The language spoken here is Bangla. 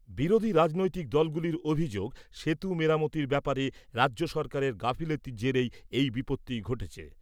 বিরোধী রাজনৈতিক দলগুলির অভিযোগ, সেতু মেরামতির ব্যাপারে রাজ্য সরকারের গাফিলতির জেরেই এই বিপত্তি ঘটেছে ।